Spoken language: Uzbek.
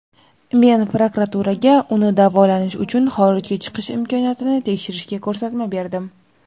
men prokuraturaga uni davolanish uchun xorijga chiqish imkoniyatini tekshirishga ko‘rsatma berdim.